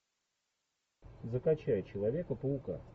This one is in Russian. закачай человека паука